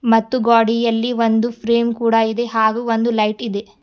ಮತ್ತು ಗೋಡಿಯಲ್ಲಿ ಒಂದು ಫ್ರೇಮ್ ಕೂಡ ಇದೆ ಹಾಗೂ ಒಂದು ಲೈಟ್ ಇದೆ.